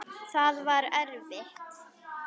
Það var erfitt.